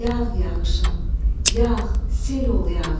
Yağ yağışım, yağ, sel ol yağ.